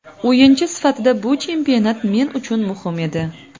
O‘yinchi sifatida bu chempionat men uchun muhim edi.